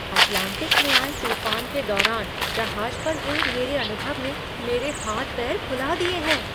Atlantic में आए तूफान के दौरान जहाज पर हुए मेरे अनुभव ने मेरे हाथ पैर फुला दिए हैं!